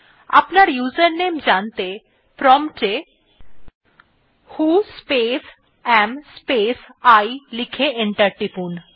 আপনার ইউজারনেম জানতে প্রম্পট এ ভো স্পেস এএম স্পেস I লিখে এন্টার টিপুন